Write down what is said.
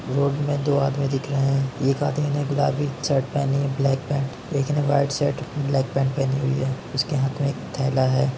Road में दो आदमी दिख रहे हैं। एक आदमी ने गुलाबी शर्ट पहनी है ब्लैक पैंट । एक ने व्हाइट शर्ट ब्लैक पैंट पहनी है। उसके हाथ में एक थैला है।